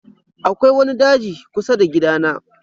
Akwai wani daji kusa da gidana.